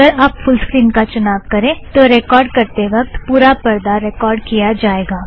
अगर आप full screen का चुनाव करें तो रेकॉर्ड़ करते वक्त पुरा परदा रेकॉर्ड़ किया जाएगा